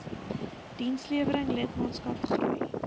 dienslewering lidmaatskap groei